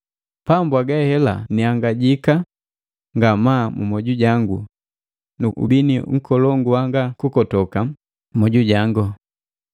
Pamwaga hela niangajika ngamaa mumoju jangu nu ubini nkolongu wanga kukotoka mu moju jango.